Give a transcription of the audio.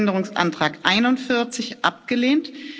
Änderungsantrag 41 abgelehnt